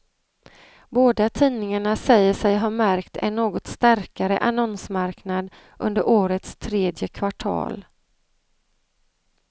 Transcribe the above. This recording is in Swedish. Båda tidningarna säger sig ha märkt en något starkare annonsmarknad under årets tredje kvartal.